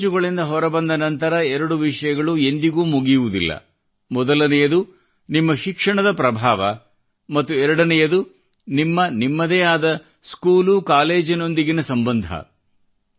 ಶಾಲೆ ಕಾಲೇಜುಗಳಿಂದ ಹೊರಬಂದ ನಂತರ ಎರಡು ವಿಷಯಗಳು ಎಂದಿಗೂ ಮುಗಿಯುವದಿಲ್ಲ ಮೊದಲನೆಯದು ನಿಮ್ಮ ಶಿಕ್ಷಣದ ಪ್ರಭಾವ ಮತ್ತು ಎರಡನೆಯದು ನಿಮ್ಮ ನಿಮ್ಮದೇ ಆದ ಸ್ಕೂಲು ಕಾಲೇಜಿನೊಂದಿಗೆ ಸಂಬಂಧ